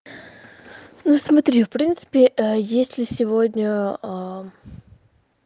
ну смотри в принципе есть ли сегодня